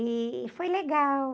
E foi legal.